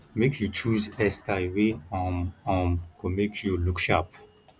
make you choose hair style wey um um go make you look sharp